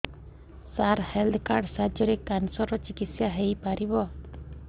ସାର health card ସାହାଯ୍ୟରେ cancer ର ଚିକିତ୍ସା ହେଇପାରିବ